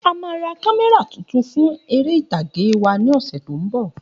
A má ra kámẹ́rà tuntun fún eré ìtàge wa ni ọsẹ tí o nbọ